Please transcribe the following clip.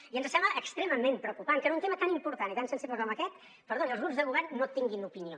i ens sembla extremament preocupant que en un tema tan important i tan sensible com aquest perdoni els grups de govern no tinguin opinió